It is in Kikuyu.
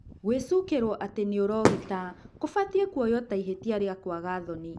gwĩcukĩrwo atĩ nĩũrogita kũbatie kuoywo ta ihĩtia rĩa kwaga thoni.